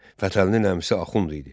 Fətəlinin əmisi Axund idi.